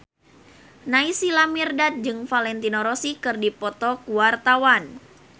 Naysila Mirdad jeung Valentino Rossi keur dipoto ku wartawan